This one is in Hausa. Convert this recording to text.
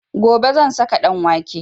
Gobe zan saka ɗanwake